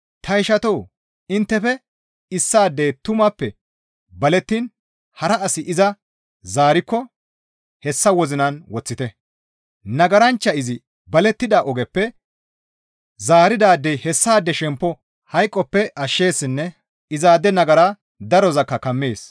Ta ishatoo! Inttefe issaadey tumappe balettiin hara asi iza zaarikko hessa wozinan woththite; nagaranchcha izi balettida ogeppe zaaridaadey hessaade shemppo hayqoppe ashsheessinne izaade nagara darozakka kammees.